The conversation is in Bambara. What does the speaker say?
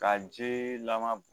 Ka ji lama